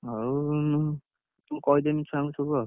ହଉ ମୁଁ କହିଦେମି ଛୁଆକଣୁ ସବୁ ଆଉ,